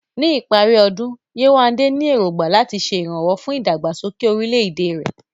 Ní ìparí ọdún, Yewande ní èrògbà láti ṣe ìrànwọ́ fún ìdàgbàsókè orílẹ̀-èdè rẹ̀.